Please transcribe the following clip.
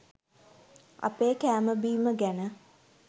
අපේ කෑම බීම ගැන